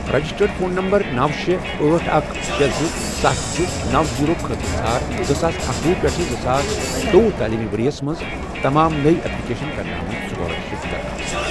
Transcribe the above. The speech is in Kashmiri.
رجسٹرڈ فون نمبر نوَ، شے، أٹھ، اکھ، شے، زٕ، ستھَ، زٕ، نوَ، زیٖرو، خٲطرٕ ژھار زٕساس اکَوُہ پیٹھ زٕساس زٕتووُہ تعلیٖمی ورۍ یَس مَنٛز تمام نٔۍ ایپلیۍ کرنہٕ آمٕتۍ سُکالرشپ درخواستہٕ۔